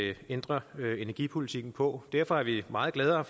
at ændre energipolitikken på derfor er vi meget gladere